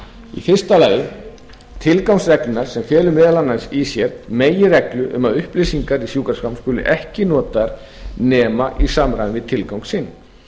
í fyrsta lagi tilgangs reglna sem felur meðal annars í sér meginreglu um að upplýsingar í sjúkraskrám skuli ekki notaðar nema í samræmi við tilgang sinn